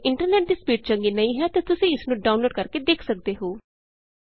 ਜੇ ਤੁਹਾਡੇ ਇੰਟਰਨੈਟ ਦੀ ਸਪੀਡ ਚੰਗੀ ਨਹੀਂ ਹੈ ਤਾਂ ਤੁਸੀਂ ਇਸ ਨੂੰ ਡਾਊਨਲੋਡ ਕਰਕੇ ਦੇਖ ਸਕਦੇ ਹੋ